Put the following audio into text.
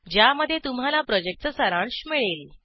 ज्यामध्ये तुम्हाला प्रॉजेक्टचा सारांश मिळेल